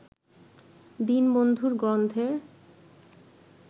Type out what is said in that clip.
দীনবন্ধুর গ্রন্থের